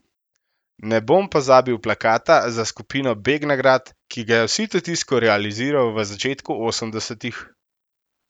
Ne bom pozabil plakata za skupino Begnagrad, ki ga je v sitotisku realiziral v začetku osemdesetih.